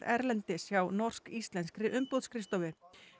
erlendis hjá norsk íslenskri umboðsskrifstofu